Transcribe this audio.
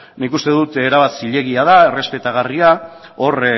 nik uste dut erabat zilegi da errespetagarria da hor